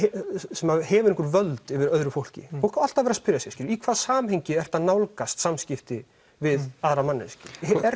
sem hefur einhver völd yfir öðru fólki fólk á alltaf að vera að spyrja sig í hvaða samhengi ertu að nálgast samskipti við aðra manneskju